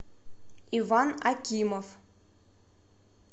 иван акимов